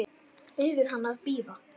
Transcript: Biður hann að bíða.